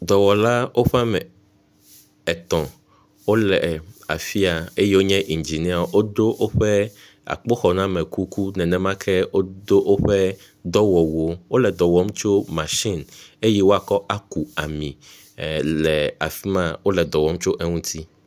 Dɔwɔla woƒe ame etɔ̃ wole afi ya eye wonye indziniawo. Wodo woƒe akpoxɔname kuku, nenemake wodo woƒe dɔwɔwuwo. Wole dɔ wɔm tso eyi woakɔ aku ami le afi ma, wole edɔ wɔm tso eŋuti.